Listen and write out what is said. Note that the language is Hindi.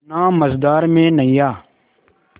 ना मझधार में नैय्या